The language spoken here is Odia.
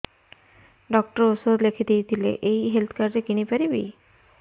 ଡକ୍ଟର ଔଷଧ ଲେଖିଦେଇଥିଲେ ଏଇ ହେଲ୍ଥ କାର୍ଡ ରେ କିଣିପାରିବି